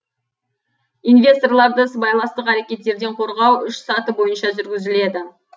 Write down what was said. инвесторларды сыбайластық әрекеттерден қорғау үш саты бойынша жүргізіледі